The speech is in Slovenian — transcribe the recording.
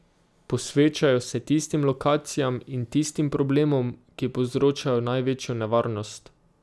Posvečajo se tistim lokacijam in tistim problemom, ki povzročajo največjo nevarnost.